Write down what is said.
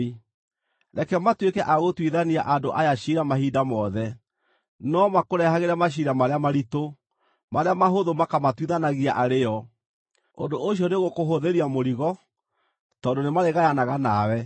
Reke matuĩke a gũtuithania andũ aya ciira mahinda mothe, no makũrehagĩre maciira marĩa maritũ; marĩa mahũthũ makamatuithanagia arĩ o. Ũndũ ũcio nĩũgũkũhũthĩria mũrigo, tondũ nĩmarĩgayanaga nawe.